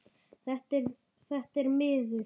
Þetta er miður.